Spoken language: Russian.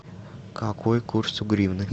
какой курс у гривны